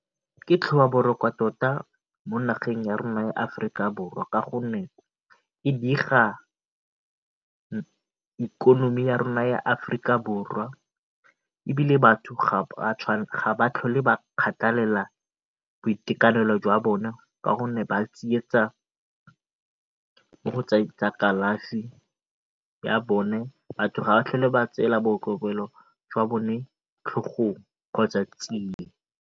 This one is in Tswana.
Ke tlhobaboroko tota mo nageng ya rona ya Aforika Borwa ka gonne e diga ikonomi ya rona ya Aforika Borwa ebile batho ga ba tlhole ba kgathalela boitekanelo jwa bona ka gonne ba tsietsa mo go tsa kalafi ya bone. Batho ga ba tlhole ba tseela kgotsa tsia.